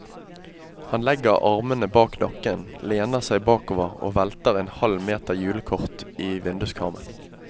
Han legger armene bak nakken, lener seg bakover og velter en halv meter julekort i vinduskarmen.